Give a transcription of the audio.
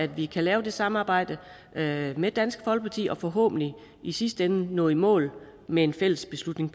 vi kan lave det samarbejde med med dansk folkeparti og forhåbentlig i sidste ende nå i mål med en fælles beslutning